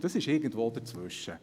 Das ist irgendwo dazwischen.